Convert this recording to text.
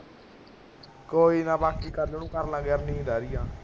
ਕੋਈ ਨਾ ਬਾਕੀ ਕਲ ਨੂੰ ਕਰ ਲਾਂਗੇ ਯਾਰ ਨੀਂਦ ਆ ਰਹੀ ਹੈ